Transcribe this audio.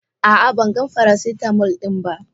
A'a ban gan faracitamol din ba.